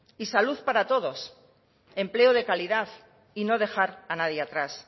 y salud para todos empleo de calidad y no dejar a nadie atrás